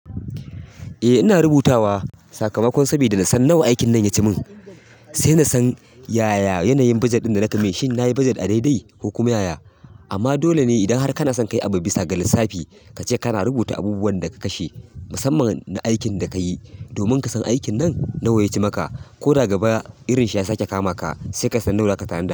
Eh ina rubutawa sakamakon saboda nasan nawa aikin nan ya ci min. Sai na san yaya yanayin bajet ɗin da na tafi. Shin na yi bajet a daidai ko kuma yaya? Amma dole ne idan har kana son ka yi abu bisa ga lissafi, ka ce kana rubuta abubuwan da ka kashe. Musamman na aikin da ka yi, domin ka san aikin nan nawa ya ci maka, ko da gaba irin shi ya sake kama ka, sai ka san nawa za ka tanada.